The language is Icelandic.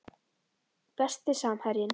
Besti samherjinn?